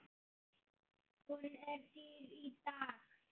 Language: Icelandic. Hún er dýr í dag.